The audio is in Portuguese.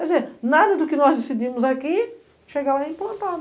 Quer dizer, nada do que nós decidimos aqui chega lá implantado.